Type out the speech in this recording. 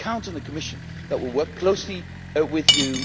you can count on the Commission to work closely with you.